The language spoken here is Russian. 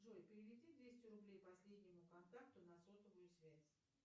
джой переведи двести рублей последнему контакту на сотовую связь